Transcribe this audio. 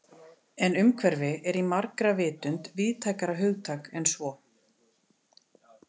En umhverfi er í margra vitund víðtækara hugtak en svo.